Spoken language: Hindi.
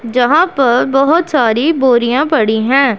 जहां पर बहोत सारी बोरियां पड़ी है।